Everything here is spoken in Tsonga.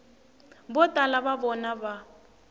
vo tala va vona va